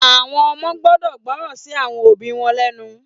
Àwọn ọmọ gbọ́dọ̀ gbọ́ràn sí àwọn òbí wọn lénu.